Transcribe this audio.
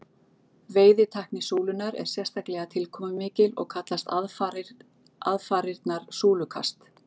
Veiðitækni súlunnar er sérstaklega tilkomumikil og kallast aðfarirnar súlukast.